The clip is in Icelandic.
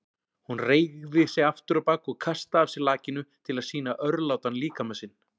Hún reigði sig afturábak og kastaði af sér lakinu til að sýna örlátan líkama sinn.